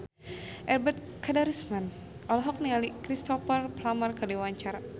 Ebet Kadarusman olohok ningali Cristhoper Plumer keur diwawancara